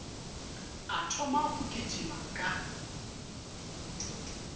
a thoma go kitima ka